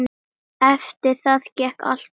Eftir það gekk allt betur.